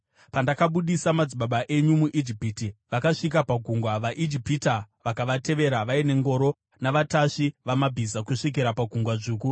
Pandakabudisa madzibaba enyu muIjipiti, vakasvika pagungwa, vaIjipita vakavatevera vaine ngoro navatasvi vamabhiza kusvikira paGungwa Dzvuku.